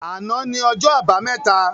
Àná ni ọjọ́ àbámẹ́ta